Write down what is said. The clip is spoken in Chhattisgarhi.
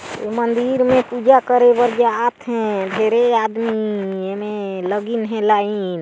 मंदिर मे पूजा करे बर जात हे डेरे आदमी एमे लगिन हे लाइन --